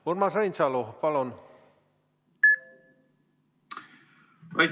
Urmas Reinsalu, palun!